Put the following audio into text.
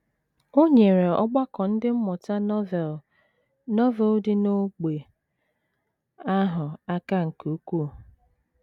O nyeere ọgbakọ Ndị Mmụta Novel Novel dị n’ógbè ahụ aka nke ukwuu.